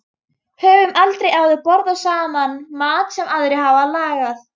Höfum aldrei áður borðað saman mat sem aðrir hafa lagað.